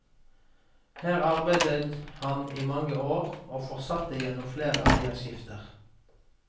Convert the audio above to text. Her arbeidet han i mange år, og fortsatte gjennom flere eierskifter.